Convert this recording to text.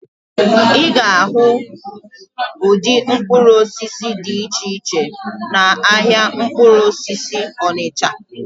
Ị ga-ahụ ụdị mkpụrụ osisi dị iche iche n'ahịa mkpụrụ osisi Onịcha.